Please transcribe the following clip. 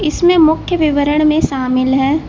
इसमें मुख्य विवरण में शामिल है।